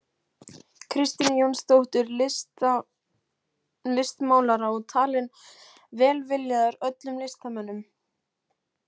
Kristínu Jónsdóttur listmálara og talinn velviljaður öllum listamönnum.